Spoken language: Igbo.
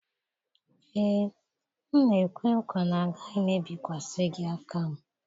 Ee, m na-ekwe nkwa na agaghị m ebikwasị gị aka m